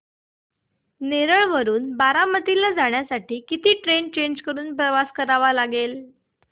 नेरळ वरून बारामती ला जाण्यासाठी किती ट्रेन्स चेंज करून प्रवास करावा लागेल